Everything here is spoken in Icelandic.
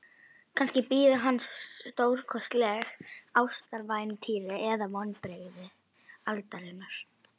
Kannski bíður hans stórkostlegt ástarævintýri eða vonbrigði aldarinnar.